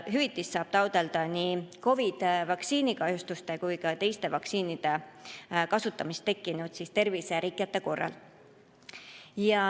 Hüvitist saab taotleda nii COVID‑i vaktsiini kahjustuste kui ka teiste vaktsiinide kasutamisest tekkinud terviserikete korral.